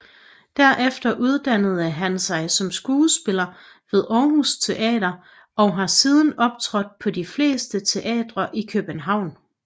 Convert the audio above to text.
Derefter uddannede han sig som skuespiller ved Aarhus Teater og har siden optrådt på de fleste teatre i København